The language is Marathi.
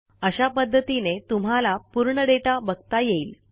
अशा पध्दतीने तुम्हाला पूर्ण दाता बघता येईल